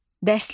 Dərslik.